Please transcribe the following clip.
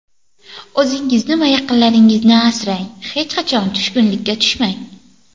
O‘zingizni va yaqinlaringizni asrang, hech qachon tushkunlikka tushmang.